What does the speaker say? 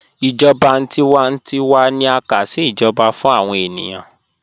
Ijọba tiwántíwà ni a ká sí ijọba fún awọn ènìyàn